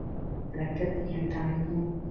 ਦਰਖ਼ਤ ਦੀਆਂ ਟਾਹਣੀਆਂ